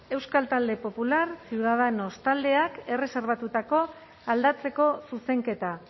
euskal talde popular ciudadanos taldeak erreserbatutako aldatzeko zuzenketa